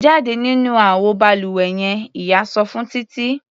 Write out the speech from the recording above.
Jáde nínú àwo balùwẹ yen! Ìyá sọ fún Títí.